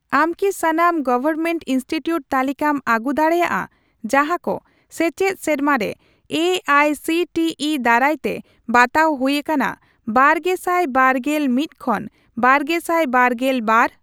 ᱟᱢ ᱠᱤ ᱥᱟᱱᱟᱢ ᱜᱚᱣᱚᱨᱢᱮᱱᱴ ᱤᱱᱥᱴᱤᱴᱤᱭᱩᱴ ᱛᱟᱞᱤᱠᱟᱢ ᱟᱹᱜᱩ ᱫᱟᱲᱮᱭᱟᱜᱼᱟ ᱡᱟᱦᱟᱸᱠᱚ ᱥᱮᱪᱮᱫ ᱥᱮᱨᱢᱟᱨᱮ A I C T E ᱫᱟᱨᱟᱭᱛᱮ ᱵᱟᱛᱟᱣ ᱦᱩᱭ ᱟᱠᱟᱱᱟ ᱵᱟᱨᱜᱮᱥᱟᱴ ᱵᱟᱨᱜᱮᱞ ᱢᱤᱛ ᱠᱷᱚᱱ ᱵᱟᱨᱜᱮᱥᱟᱭ ᱵᱟᱨᱜᱮᱞ ᱵᱟᱨ ?